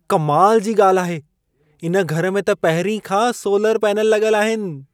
कमाल जी ॻाल्हि आहे। इन घर में त पहिरीं खां सोलर पैनल लॻल आहिनि।